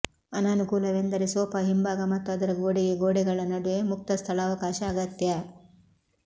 ಅನಾನುಕೂಲವೆಂದರೆ ಸೋಫಾ ಹಿಂಭಾಗ ಮತ್ತು ಅದರ ಗೋಡೆಗೆ ಗೋಡೆಗಳ ನಡುವೆ ಮುಕ್ತ ಸ್ಥಳಾವಕಾಶ ಅಗತ್ಯ